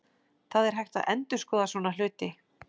Það er hægt að endurskoða svona hluti.